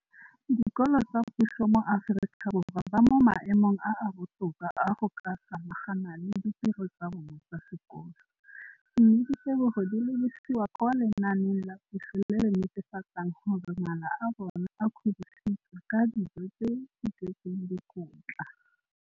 Dikolo tsa puso mo Aforika Borwa ba mo maemong a a botoka a go ka samagana le ditiro tsa bona tsa sekolo, mme ditebogo di lebisiwa kwa lenaaneng la puso le le netefatsang gore mala a bona a kgorisitswe ka dijo tse di tletseng dikotla.